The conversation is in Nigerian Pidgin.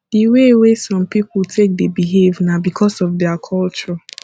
di way wey some pipo take dey behave na because of their culture